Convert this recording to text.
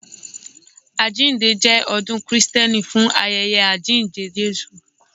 Àjíǹde jẹ ọdún Krìsténì fún ayẹyẹ àjíǹde Jésù.